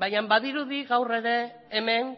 baina badirudi gaur ere hemen